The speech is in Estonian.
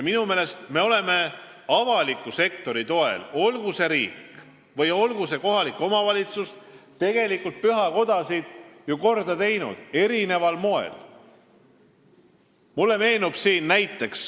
Minu meelest me oleme avaliku sektori toel, olgu see riik või kohalik omavalitsus, pühakodasid ju eri moel korda teinud.